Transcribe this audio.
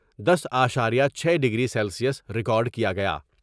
دس اشاریہ چھ degree Celsius record کیا گیا ۔